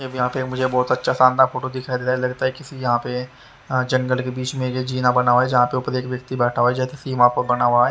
यहां पे मुझे बहुत अच्छा शानदार फोटो दिखाई दे रहा है लगता है किसी यहां पे जंगल के बीच में ये जीना बना हुआ है जहां पे ऊपर एक व्यक्ति बैठा हुआ है जैसे सीमा पर बना हुआ है।